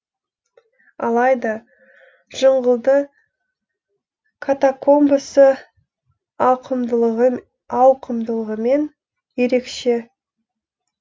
алайда жыңғылды катакомбасы ауқымдылығымен ерекше